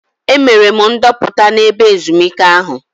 Emere m ndoputa n'ebe ezumike ahụ.